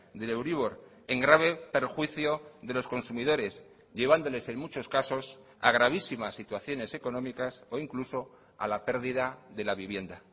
del euribor en grave perjuicio de los consumidores llevándoles en muchos casos a gravísimas situaciones económicas o incluso a la pérdida de la vivienda